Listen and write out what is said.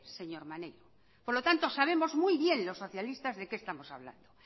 señor maneiro por lo tanto sabemos muy bien los socialistas de que estamos hablando